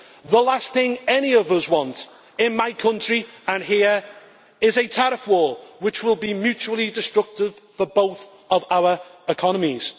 The last thing any of us want, in my country or here, is a tariff war, which will be mutually destructive for both our economies.